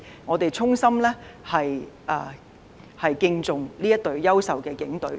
我們衷心敬重這支優秀的警隊。